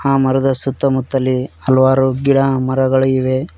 ಆ ಮರದ ಸುತ್ತಮುತ್ತಲೀ ಹಲವಾರು ಗಿಡಮರಗಳಿವೆ.